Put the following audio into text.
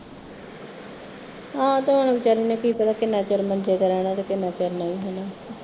ਆਹੋ ਤੇ ਹੁਣ ਵਿਚਾਰੀ ਨੇ ਕਿ ਪਤਾ ਕਿੰਨਾ ਚਿਰ ਮੰਝੇ ਤੇ ਰਹਿਣਾ ਤੇ ਕਿੰਨਾ ਚਿਰ ਨਹੀਂ ਹੁਣ